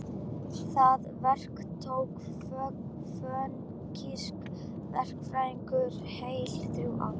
Það verk tók fönikíska verkfræðinga heil þrjú ár.